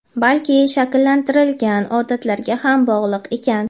balki shakllantirilgan odatlarga ham bog‘liq ekan.